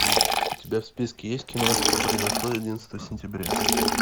у тебя в списке есть кино что произошло одиннадцатого сентября